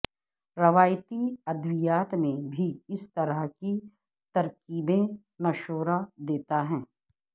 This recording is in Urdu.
روایتی ادویات میں بھی اس طرح کی ترکیبیں مشورہ دیتا ہے